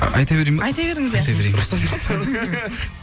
айта берейін ба айта беріңіз иә